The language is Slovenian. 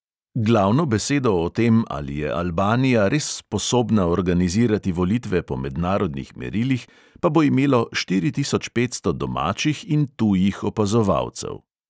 Glavno besedo o tem, ali je albanija res sposobna organizirati volitve po mednarodnih merilih, pa bo imelo štiri tisoč petsto domačih in tujih opazovalcev.